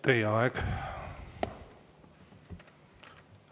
Teie aeg!